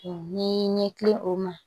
Ni ɲɛkili o ma